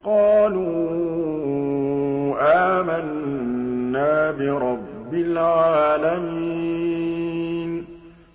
قَالُوا آمَنَّا بِرَبِّ الْعَالَمِينَ